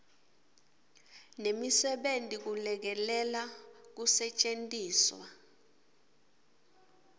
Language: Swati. nemisebenti kulekelela kusetjentiswa